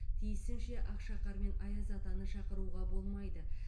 тиісінше ақшақар мен аяз атаны шақыруға болмайды